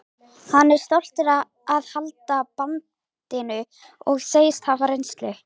Hann er stoltur að halda bandinu og segist hafa reynsluna.